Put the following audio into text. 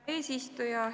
Hea eesistuja!